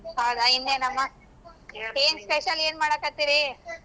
ಹೌದಾ ಇನ್ನೆನಮ್ಮ. ಏನ್ special ಏನ್ ಮಾಡಾಕತ್ತಿರಿ.